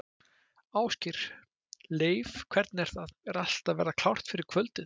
Ásgeir: Leif, hvernig er það, er allt að verða klárt fyrir kvöldið?